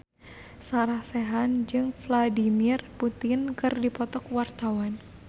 Sarah Sechan jeung Vladimir Putin keur dipoto ku wartawan